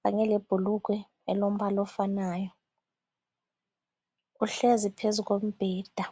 kanye lebhulugwe elombala ofanayo uhlezi phezu kombheda.